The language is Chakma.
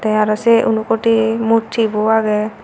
te aro say unakoti murti bu age.